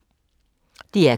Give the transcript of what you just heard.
DR K